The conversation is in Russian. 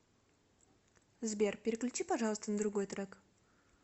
сбер переключи пожалуйста на другой трек